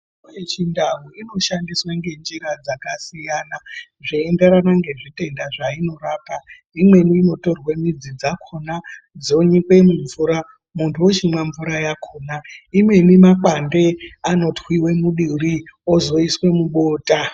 Mitombo yechindau inoshandiswe ngenjira dzakasiyana zveienderana nezvitenda zvainorapa. Imweni inotorwe midzi dzakhona dzonyikwe mumvura muntu wochimwa mvura yakhona. Imweni makwande anotwiwe muduri ozoiswe mubota.